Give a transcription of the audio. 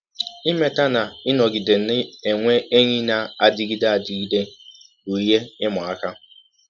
Imeta na ịnọgide na - enwe enyi na - adịgide adịgide bụ ihe ịma aka.